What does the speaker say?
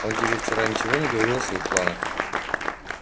он тебе вчера ничего не говорил о своих планах